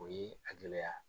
O ye a gɛlɛya.